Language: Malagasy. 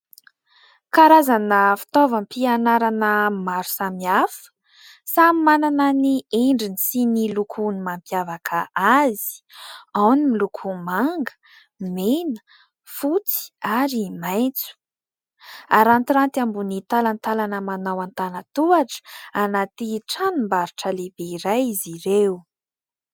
Karazana fitaovam-pianarana maro samihafa. Samy manana ny endriny sy ny lokon'ny mampiavaka azy ao ny miloko manga, mena, fotsy ary maitso harantiranty ambony talantalana manao an-tanan-tohatra anaty tranom-baoritra lehibe iray izy ireo.